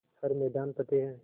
हर मैदान फ़तेह